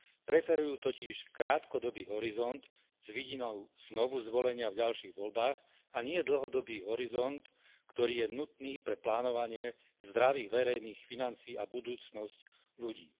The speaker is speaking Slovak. Preferujú totiž krátkodobý horizont, s vidinou znovu zvolenia v ďalších voľbách a nie dlhodobý horizont, ktorý je nutný pre plánovanie zdravých verejných financií a budúcnosť ľudí.